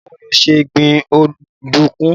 Báwo ni o ṣe ń gbin ọ̀dùnkún?